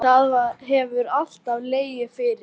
Það hefur alltaf legið fyrir